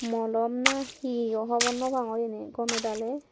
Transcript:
molom na he o hobor naw pangor iyeni gomey daley.